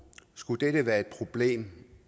skulle dette være et problem